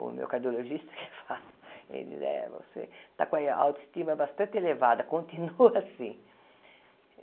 O meu cardiologista que fala, ele diz, você está com a autoestima bastante elevada, continua assim.